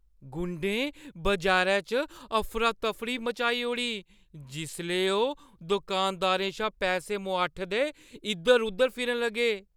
गुंडें बजारै च अफरा-तफरी मचाई ओड़ी जिसलै ओह् दुकानदारें शा पैसे मुआठदे इद्धर-उद्धर फिरन लगे।